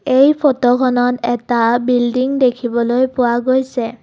এই ফটোখনত এটা বিল্ডিং দেখিবলৈ পোৱা গৈছে।